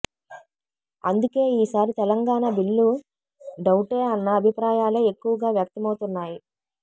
అందుకే ఈ సారి తెలంగాణ బిల్లు డౌటే అన్న అభిప్రాయాలే ఎక్కువగా వ్యక్తమవుతున్నాయి